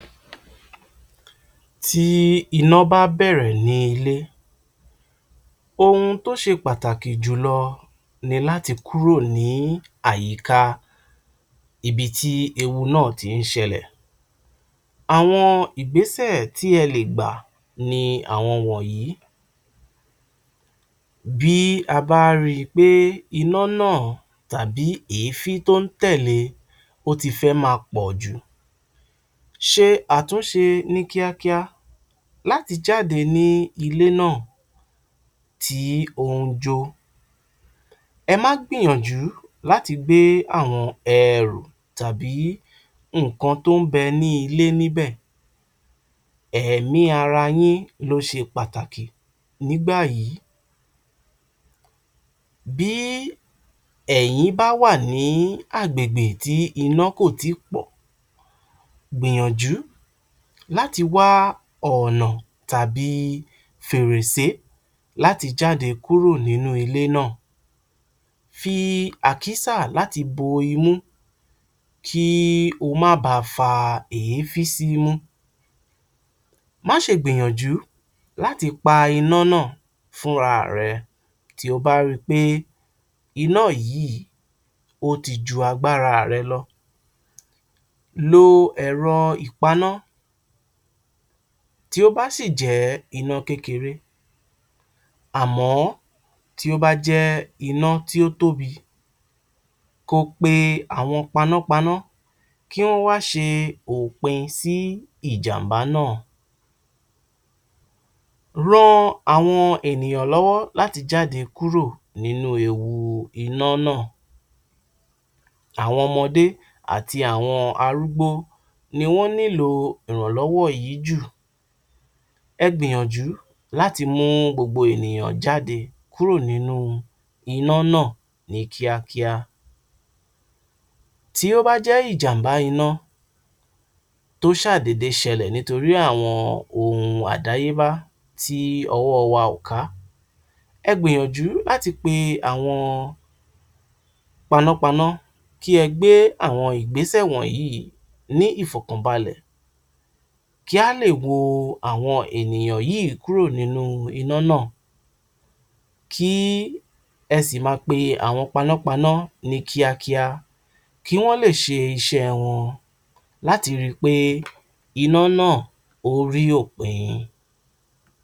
Tí iná bá bẹ̀rẹ̀ ní ilé, ohun tó ṣe pàtàkì jùlọ ni láti kúrò ní àyíká ibi tí ewu náà ti ń ṣẹlẹ̀. Àwọn ìgbésẹ̀ tí e lè gbà ni àwọn wọ̀nyí. Bí a bá rí i pé iná náà tàbí èéfín tó ń tẹ̀lẹ́ ó ti fẹ́ máa pọ̀ jù, ṣe àtúnṣe ní kíákíá láti jáde ní ilé náà tí ó ń jó. Ẹ má gbìyànjù láti gbé àwọn ẹrù tàbí nǹkan tó ń bẹ ní ilé níbẹ̀, ẹ̀mí ara yín ló ṣe pàtàkì nígbà yìí. Bí ẹ̀yin bá wà ní agbègbè tí iná kò tí ì pọ̀, gbìyànjú láti wá ọ̀nà tàbí fèrèsẹ́ láti jáde kúrò nínú ilé náà, fi àkísà láti bo imú, kí o má ba fa èéfín símú. Má ṣe gbìyànjù láti pa iná náà fúnra rẹ, tí o bá rí i pé iná yìí ó ti jú agbára rẹ lọ, lo ẹ̀rọ ìpaná, tí ó bá sì jẹ́ iná kékeré, àmọ̀ tí ó bá jẹ́ iná tí ó tóbi, kó o pe àwọn panápaná kí wọ́n wá ṣe òpin sí ìjàm̀bá náà. Ran àwọn ènìyàn lọ́wọ́ láti jáde kúrò nínú ewu iná náà, àwọn ọmọdé àti àwọn arúgbó ni wọ́n nílò ìrànlọ́wọ́ yìí jù. Ẹ gbìyànjú láti mú gbogbo ènìyàn jáde kúrò nínú iná náá ní kíákíá. Tí ó bá jẹ́ ìjàm̀bá iná tó ṣàà dédé ṣẹlẹ̀ nítorí àwọn ohun àdáyébá tí ọwọ́ wa ò ká, ẹ gbìyànjú láti pe àwọn panápaná, kí ẹ gbé àwọn ìgbésẹ̀ wọ̀nyí ní ìfọ̀kànbalẹ̀, kí á lè wo àwọn ènìyàn yìí kúrò nínú iná náà. Kí ẹ sì máa pe àwọn panápaná ní kíákíá, kí wọ́n lè ṣe iṣẹ́ wọn láti rí i pé iná náà ó rí òpin